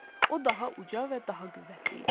O daha uca və daha qüvvətli idi.